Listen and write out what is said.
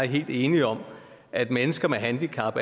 helt enige om at mennesker med handicap